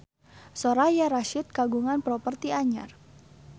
Soraya Rasyid kagungan properti anyar